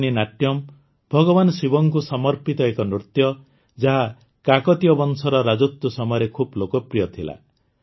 ପେରିନି ନାଟ୍ୟମ୍ ଭଗବାନ ଶିବଙ୍କୁ ସମର୍ପିତ ଏକ ନୃତ୍ୟ ଯାହା କାକତିୟ ବଂଶର ରାଜତ୍ୱ ସମୟରେ ଖୁବ ଲୋକପ୍ରିୟ ଥିଲା